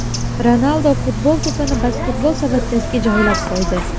Ronaldu futbol to‘pini basketbol savatchasiga joylab qo‘ydi .